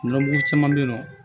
Nɔnɔ mugu caman be yen nɔ